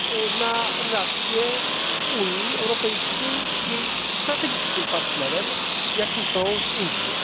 dla relacji Unii Europejskiej z jej strategicznym partnerem, jakim są Indie.